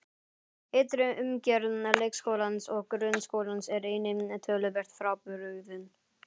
Ytri umgjörð leikskólans og grunnskólans er einnig töluvert frábrugðin.